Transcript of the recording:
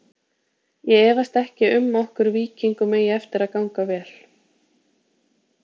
Ég efast ekki um okkur Víkingum eigi eftir að ganga vel.